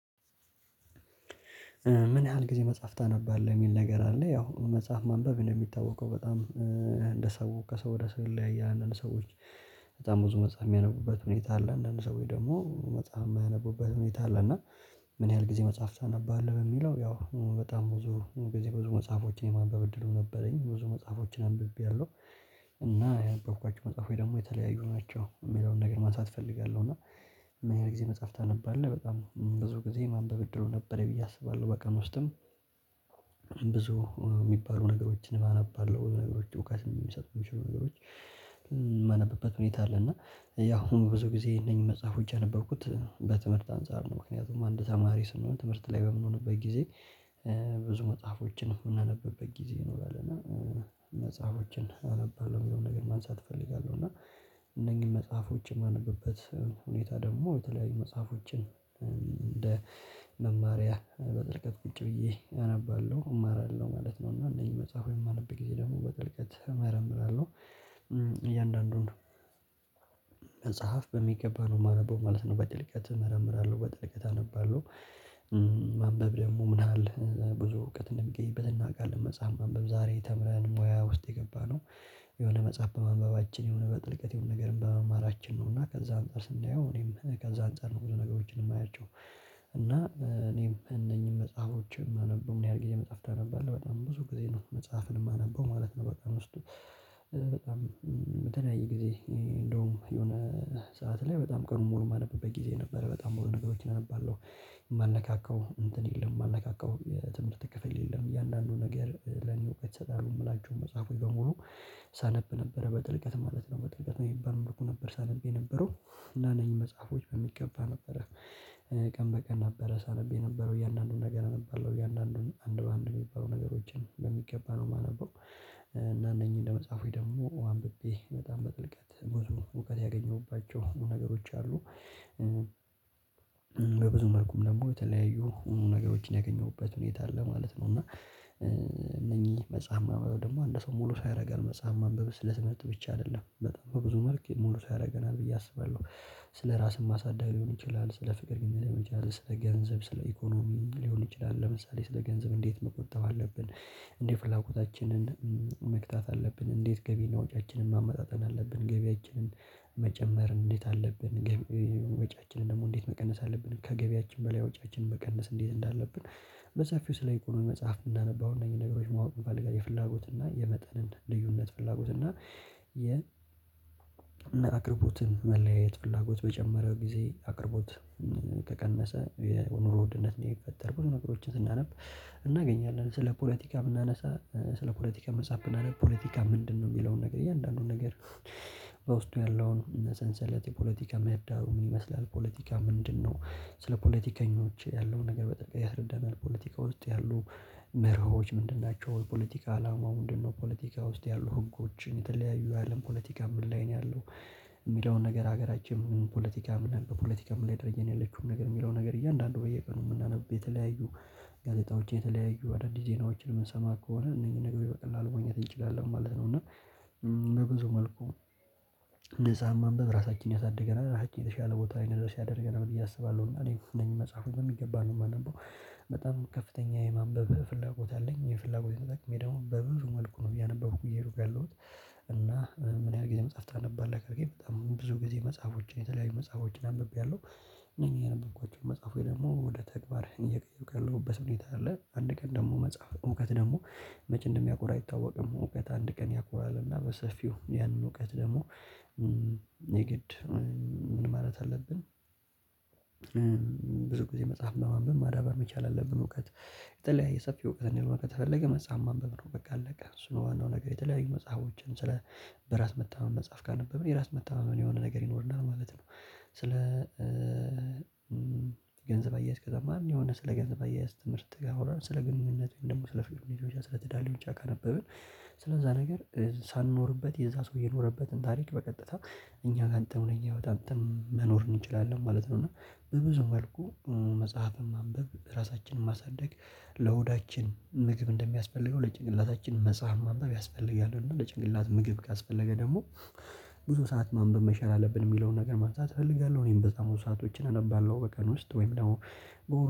ምን ያህል ጊዜ መጽሐፍ ታነባለህ የሚል ነገር አለ? ያው መጽሐፍ ማንበብ ነው እንደሚታወቀው በጣም እንደ ሰው ከሰው ወደ ሰው ይለያያል እንደ ሰዎች። በጣም ብዙ መጽሐፍ ሚያነቡበት ሁኔታ አለ አንዳንድ ሰው ደግሞ መጽሐፍ የማያነቡበት ሁኔታ አለ። እና ምን ያህል ጊዜ መጽሐፍ ታነባህ አለ? ለሚለው ያው በጣም ብዙ ጊዜ ብዙ መጽሐፎችን የማንበብ እድሉ ነበረኝ ብዙ መጽሐፎችን አንብቤያለሁ። እና ያነበብኳቸው መጽሐፎች ደግሞ የተለያዩ ናቸው የሚለውን ነገር ማንሳት እፈልጋለሁ። እና ምን ያህል ጊዜ መጽሐፍ ታነባለህ በጣም ብዙ ጊዜ ማንበብ እድሉ ነበረኝ ብዬ አስባለሁ በቀን ውስጥም ብዙ እሚባሉ ነገሮችንም አነባለሁ ነገሮች እውቀት የሚሰጡ ነገሮች። የማነብበት ሁኔታ አለ። እና ያው ብዙ ጊዜ እነኚህ መጽሐፎች ያነበብኩት በትምህርት አንፃር ነው ምክንያቱም አንድ ተማሪ ስንሆን ትምህርት ላይ በምንሆንበት ጊዜ። ብዙ መጽሐፎችን እምናነብበት ጊዜ ይኖራል እና መጽሐፎችን አነባለሁ የሚለውን ነገር ማንሳት እፈልጋለሁ። እና እነኚህን መጽሐፎች የማነብበት ሁኔታ ደግሞ የተለያዩ መጽሐፎችን እንደ መማሪያ በጥልቀት ቁጭ ብዬ አነባለሁ እማራለሁ ማለት ነው። እና እነኚህ መጽሐፎች የማነብ ጊዜ ደግሞ በጥልቀት እመረምራለሁ። እያንዳንዱን መጽሐፍ በሚገባ ነው የማነበው ማለት ነው። በጥልቀት እመረምራለሁ በጥልቀት አነባለሁ። ማንበብ ደግሞ ምን ያህል ብዙ እውቀት እንደሚገኝበት እናውቃለን። መጽሐፍ ማንበብ ዛሬ ተምረን ሙያ ውስጥ የገባነው የሆነ መጽሐፍ በማንበባችን የሆነ በጥልቀት የሆነ ነገርን በመማራችን ነው። እና ከዛ አንፃር ስናየው እኔም ከዛ አንፃር ነው ብዙ ነገሮችን የማያቸው። እና እኔም እነኚህን መጽሐፎችን የማነበው ምን ያህል ጊዜ መጽሐፍ ታነባለህ በጣም ብዙ ጊዜ ነው መጽሐፍን የማነበው ማለት ነው። በጣም ውስጥ በጣም በተለያየ ጊዜ እንደውም የሆነ ሰዓት ላይ በጣም ቀኑን ሙሉ የማነብበት ጊዜ ነበረ በጣም ሙሉ ነገሮችን እነባለሁ። እንትን የለም የማልነካካው የትምህርት ክፍል የለም እያንዳንዱ ነገር ለኔ እውቀት ይሰጣሉ የምላቸውን መጽሐፎች በሙሉ ሳነብ ነበረ በጥልቀት ማለት ነው። በጥልቀት በሚባል መልኩ ነበር ሳነብ የነበረው። እና እነኚህ መጽሐፎች በሚገባ ነበረ ቀን በቀን ነበረ ሳነብ የነበረው እያንዳንዱን ነገር አነባለሁ እያንዳንዱን አንድ በአንድ የሚባሉ ነገሮችን በሚገባ ነው የማነበው። እና እነኚህ ለመጽሐፎች ደግሞ አንብቤ በጣም በጥልቀት ብዙ እውቀት ያገኘሁባቸው ነገሮች አሉ። በብዙ መልኩም ደግሞ የተለያዩ ሙሉ ነገሮችን ያገኘሁበት ሁኔታ አለ ማለት ነው። እና እነኚህ መጽሐፍ ማንበብ ደግሞ አንድ ሰው ሙሉ ሰው ያደርጋል መጽሐፍ ማንበብ ስለመጥ ብቻ አይደለም በጣም ብዙ መልክ ሙሉ ያደርገናል ብዬ አስባለሁ። ስለራስም ማሳደግ ሊሆን ይችላል። ስለ ፍቅር ግንኙነት ሊሆን ስለ ገንዘብ ስለ ኢኮኖሚ ሊሆን ይችላል። ለምሳሌ ስለ ገንዘብ እንዴት መቆጠብ አለብን? እንዴት ፍላጎታችንን መግታት አለብን? እንዴት ገቢ እና ወጪያችንን ማመጣጠን አለብን? ገቢያችንን መጨመር እንዴት አለብን? ወጪያችንን ደግሞ እንዴት መቀነስ አለብን ከገቢያችን በላይ ወጪያችንን መቀነስ እንዴት እንዳለብን? በሰፊው ስለ ኢኮኖሚ መጽሐፍ ብናነብ አሁን እነዚህን ነገሮች ማወቅ እንፈልጋለን። የፍላጎት እና የመጠንን ልዩነት ፍላጎት እና የ አቅርቦትን መለያየት ፍላጎት በጨመረ ጊዜ አቅርቦት ከቀነሰ የኑሮ ውድነት ነው። እየቀጠር ብዙ ነገሮችን ስናነብ እናገኛለን። ስለ ፖለቲካ ብናነሳ ስለ ፖለቲካ መጽሐፍ ብናነብ ፖለቲካ ምንድነው? የሚለውን ነገር እያንዳንዱን ነገር በውስጡ ያለውን ሰንሰለት የፖለቲካ መህዳሩ ምን ይመስላል? ፖለቲካ ምንድነው? ስለ ፖለቲከኞች ያለው ነገር በጣም ያስረዳናል። ፖለቲካ ውስጥ ያሉ ምህሮዎች ምንድን ናቸው? የፖለቲካ አላማው ምንድነው? ፖለቲካ ውስጥ ያሉ ህጎችን የተለያዩ የአለም ፖለቲካ ምን ላይ ነው ያለው? የሚለውን ነገር ሀገራችን ፖለቲካም በፖለቲካም ምን አይነት ደረጃ ነው ያለችውን ነገር የሚለውን ነገር እያንዳንዱ በየቀኑ ብናነብ የተለያዩ ጋዜጣዎች የተለያዩ አዳዲስ ዜናዎችን የምንሰማ ከሆነ እነዚህን ነገሮች በቀላሉ ማግኘት እንችላለን ማለት ነው። እና በብዙ መልኩ መጽሐፍ ማንበብ ራሳችን ያሳድገናል ራሳችን የተሻለ ቦታ ላይ እንድንደርስ ያደርገናል ብዬ አስባለሁ። እና እኔ እነኚን መጽሐፎች በሚገባ ነው የማነበው በጣም ከፍተኛ የማንበብ ፍላጎት አለኝ። ይሄን የፍላጎት ተጠቅሜ ደግሞ በብዙ መልኩ ነው እያነበብኩ እየሄዱኩ ያለሁት። እና ምን ያህል ጊዜ መጽሐፍ ታነባለህ? ካልከኝ በጣም ብዙ ጊዜ መጽሐፎችን የተለያዩ መጽሐፎችን አንብቤያለሁ። እነኚ ያነበብኳቸውን መጽሐፎች ደግሞ ወደ ተግባርህን እየቀየሩ ካለሁበት ሁኔታ አለ። አንድ ቀን ደግሞ መጽሐፍ እውቀት ደግሞ መቼ እንደሚያኮራ አይታወቅም። እውቀት አንድ ቀን ያኮራል። እና በሰፊው ያንን እውቀት ደግሞ የግድ ምን ማለት አለብን? ብዙ ጊዜ መጽሐፍ ለማንበብ ማዳበር መቻል አለብን። እውቀት የተለያየ ሰፊ እውቀት እንዲኖር ከተፈለገ መጽሐፍ ማንበብ ነው በቃ አለቀ። እሱ ነው። ዋናው ነገር የተለያዩ መጽሐፎችን ስለ በራስ መተማመን መጽሐፍ ካነበብን የራስ መተማመን የሆነ ነገር ይኖረናል ማለት ነው። ስለ ገንዘብ አያያዝ ከተማርን የሆነ ስለ ገንዘብ አያያዝ ትምህርት ጋር አሁን ስለ ግንኙነቱም ደግሞ ስለ ፍቅር ሊሆን ይችላል። ስለ ትዳር ሊሆን ይችላል። ካነበብን ስለዛ ነገር ሳንኖርበት የዛ ሰው የኖረበትን ታሪክ በቀጥታ እኛ ጋር አንተ ነው አንተ መኖር እንችላለን ማለት ነው። እና በብዙ መልኩ መጽሐፍን ማንበብ ራሳችንን ማሳደግ ለሆዳችን ምግብ እንደሚያስፈልገው ለጭንቅላታችን መጽሐፍ ማንበብ ያስፈልጋል። እና ለጭንቅላት ምግብ ካስፈለገ ደግሞ ብዙ ሰዓት ማንበብ መቻል አለብን የሚለውን ነገር ማንሳት እፈልጋለሁ። እኔም በጣም ብዙ ሰአቶችን አነባለሁ በቀን ውስጥ ወይም ደግሞ በወር